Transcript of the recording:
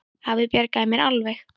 Afi bjargaði mér alveg.